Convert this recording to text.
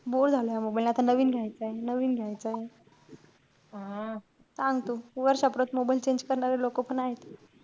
Bore झालाय आता mobile आता नवीन घ्यायचाय, नवीन घ्यायचाय. सांग तू, वर्षापरत mobile change करणारे लोकं पण आहेत.